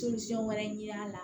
wɛrɛ ɲini a la